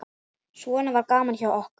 Svona var gaman hjá okkur.